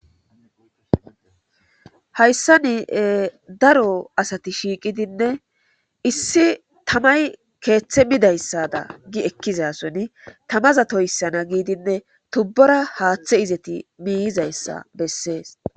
Hayssa ni daro asati shiiqidinne issi tamay keeththe midayssada gi ekkizason tamaza toyssana giidinne tubbora haaththe izeti miiyizayssa bessees.